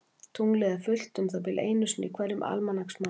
Tunglið er fullt um það bil einu sinni í hverjum almanaksmánuði.